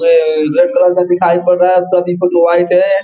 जो red colour का दिखाई पड़ रहा है सभी वाइट है।